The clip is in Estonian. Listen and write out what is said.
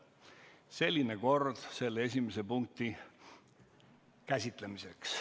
Selline kord siis selle esimese punkti käsitlemiseks.